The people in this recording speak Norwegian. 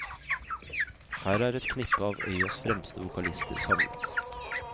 Her er et knippe av øyas fremste vokalister samlet.